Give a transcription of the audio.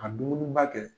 Ka dumuniba kɛ